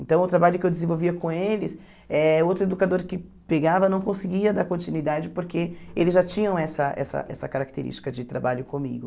Então, o trabalho que eu desenvolvia com eles, eh outro educador que pegava não conseguia dar continuidade, porque eles já tinham essa essa essa característica de trabalho comigo.